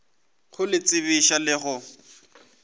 go le tsebiša le go